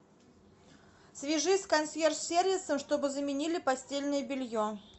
свяжись с консьерж сервисом чтобы заменили постельное белье